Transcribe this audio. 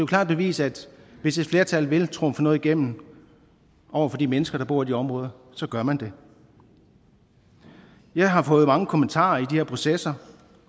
klart bevis at hvis et flertal vil trumfe noget igennem over for de mennesker der bor i de områder gør man det jeg har fået mange kommentarer i de her processer